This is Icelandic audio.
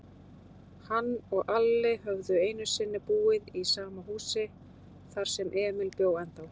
Hann og Alli höfðu einusinni búið í sama húsi, þar sem Emil bjó ennþá.